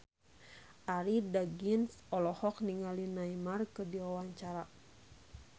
Arie Daginks olohok ningali Neymar keur diwawancara